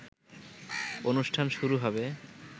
অনুষ্ঠান শুরু হবে